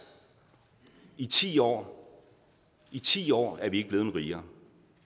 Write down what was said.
i ti år i ti år er vi ikke blevet rigere